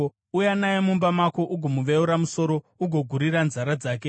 Uya naye mumba mako ugomuveura musoro, ugogurira nzara dzake,